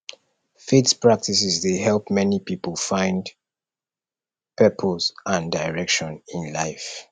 faith practices dey help many pipo find purpose and direction in life